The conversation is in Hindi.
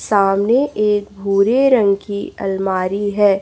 सामने एक भूरे रंग की अलमारी है।